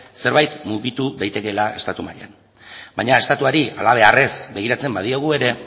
zerbait mugitu daitekeela estatu mailan baina estatuari halabeharrez begiratzen badiogu ere